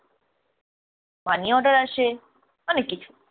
money order আসে, অনেক কিছু।